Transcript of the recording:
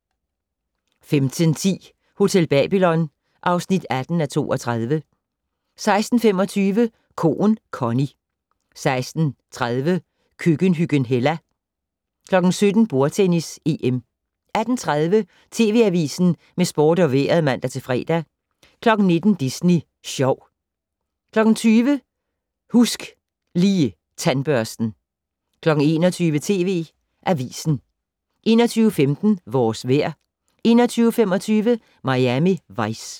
15:10: Hotel Babylon (18:32) 16:25: Koen Connie 16:30: Køkkenhyggen Hella 17:00: Bordtennis: EM 18:30: TV Avisen med sport og vejret (fre-søn) 19:00: Disney Sjov 20:00: Husk Lige Tandbørsten 21:00: TV Avisen 21:15: Vores vejr 21:25: Miami Vice